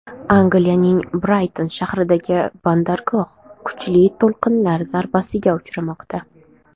Angliyaning Brayton shahridagi bandargoh kuchli to‘lqinlar zarbasiga uchramoqda.